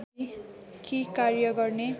कि कार्य गर्न